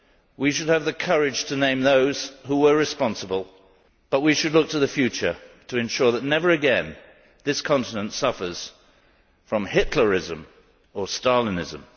We should have the courage to name those who were responsible, but we should look to the future to ensure that never again this continent suffers from Hitlerism or Stalinism.